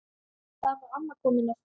Þar var amma komin aftur.